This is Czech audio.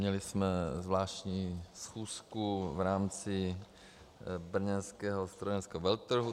Měli jsme zvláštní schůzku v rámci brněnského strojírenského veletrhu.